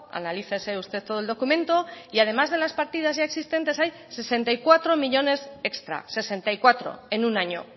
analícese usted todo el documento y además de las partidas ya existentes hay sesenta y cuatro millónes extras sesenta y cuatro en un año